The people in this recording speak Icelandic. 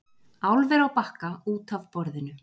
Álver á Bakka út af borðinu